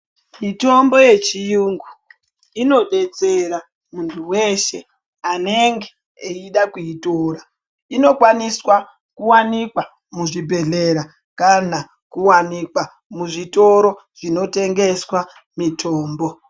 Mitombo yechiyungu inodetsera muntu weshe anenge eida kuitora. Inokwaniswa kuwanikwa muzvibhedhlera kana kuwanikwa muzvitoro zvinotengeswa mitombo.